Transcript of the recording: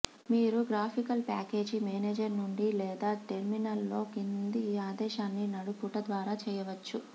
మీరు graphical package manager నుండి లేదా టెర్మినల్ లో కింది ఆదేశాన్ని నడుపుట ద్వారా చేయవచ్చు